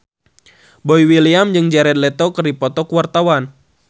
Boy William jeung Jared Leto keur dipoto ku wartawan